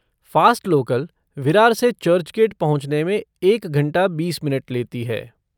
Fast local, Virar से चर्चगेट पहुँचने में एक घंटा बीस मिनट लेती है।